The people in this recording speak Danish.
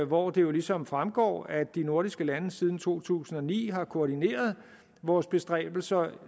hvor det ligesom fremgår at de nordiske lande siden to tusind og ni har koordineret vores bestræbelser